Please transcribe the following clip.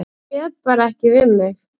Ég réð bara ekki við mig.